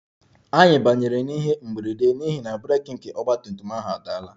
Anyị banyere n'ihe mberede n'ihi na breeki nke ọgba tum tum ahụ adaala